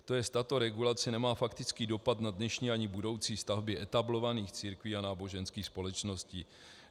To jest, tato regulace nemá faktický dopad na dnešní ani budoucí stavby etablovaných církví a náboženských společností.